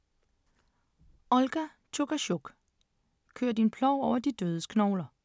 Olga Tokarczuk: Kør din plov over de dødes knogler